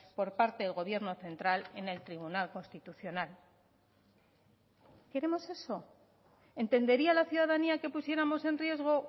por parte del gobierno central en el tribunal constitucional queremos eso entendería la ciudadanía que pusiéramos en riesgo